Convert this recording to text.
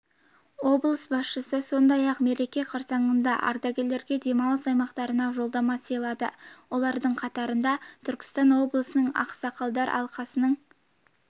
облыс басшысы сондай-ақ мереке қарсаңында ардагерлерге демалыс аймақтарына жолдама сыйлады олардың қатарында түркістан облысының ақсақалдар алқасының